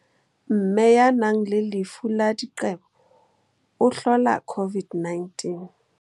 Mme ya nang le lefu la diqebo o hlola COVID-19.